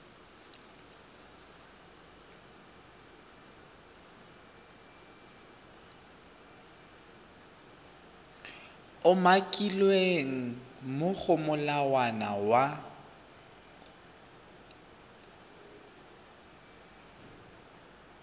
umakilweng mo go molawana wa